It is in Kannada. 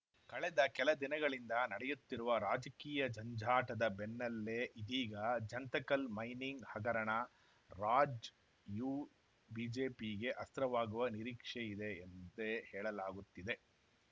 ಕಳೆದ ಕೆಲ ದಿನಗಳಿಂದ ನಡೆಯುತ್ತಿರುವ ರಾಜಕೀಯ ಜಂಜಾಟದ ಬೆನ್ನಲ್ಲೇ ಇದೀಗ ಜಂತಕಲ್‌ ಮೈನಿಂಗ್‌ ಹಗರಣ ರಾಜ್ ಯು ಬಿಜೆಪಿ ಗೆ ಅಸ್ತ್ರವಾಗುವ ನಿರೀಕ್ಷೆಯಿದೆ ಎಂತೇ ಹೇಳಲಾಗುತ್ತಿದೆ